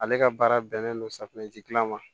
Ale ka baara bɛnnen don safunɛji dilan ma